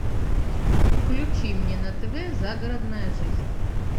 включи мне на тв загородная жизнь